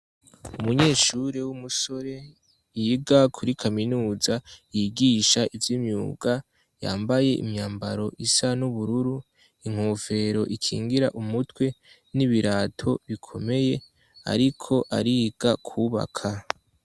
Umunyeshuri w'umusore yiga kuri kaminuza yigisha ivy'imyuga yambaye imyambaro isa n'ubururu, inkofero ikingira umutwe, n'ibirato bikomeye ariko ariga kubaka.